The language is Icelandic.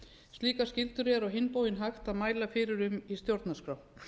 slíkar skyldur er á hinn bóginn hægt að mæla fyrir um í stjórnarskrá